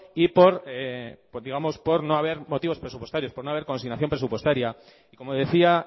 y digamos por no haber motivos presupuestarios por no haber consignación presupuestaria y como decía